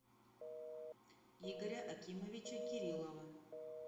игоря акимовича кириллова